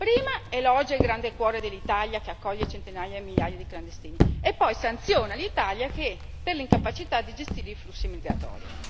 Prima elogia il grande cuore dell'Italia che accoglie centinaia e migliaia di clandestini e poi sanziona l'Italia per l'incapacità di gestire i flussi migratori.